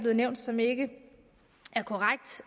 har nævnt som ikke